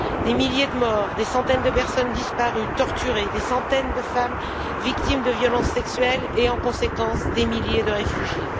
Des milliers de morts, des centaines de personnes disparues, torturées, des centaines de femmes victimes de violences sexuelles et, en conséquence, des milliers de réfugiés.